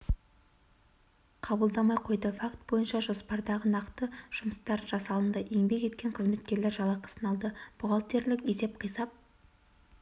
қабылдамай қойды факт бойынша жоспардағы нақты жұмыстар жасалынды еңбек еткен жұмыскерлер жалақысын алды бухгалтерлік есеп-қисап